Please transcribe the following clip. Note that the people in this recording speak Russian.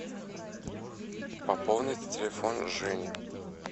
пополнить телефон жени